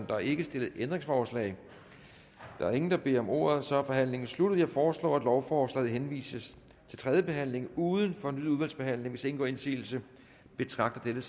der er ikke stillet ændringsforslag der er ingen der beder om ordet så er forhandlingen sluttet jeg foreslår at lovforslaget henvises til tredje behandling uden fornyet udvalgsbehandling hvis ingen gør indsigelse betragter jeg